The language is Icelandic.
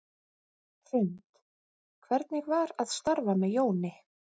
Hrund: Hvernig var að starfa með Jóni?